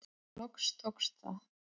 Loks tókst það.